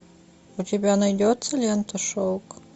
у тебя найдется лента шелк